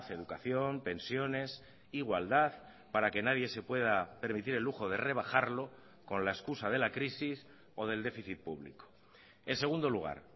educación pensiones igualdad para que nadie se pueda permitir el lujo de rebajarlo con la excusa de la crisis o del déficit público en segundo lugar